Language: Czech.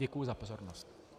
Děkuji za pozornost.